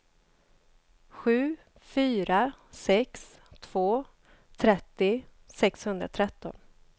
sju fyra sex två trettio sexhundratretton